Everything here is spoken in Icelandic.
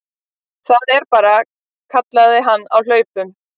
Það er bara, kallaði hann á hlaupunum.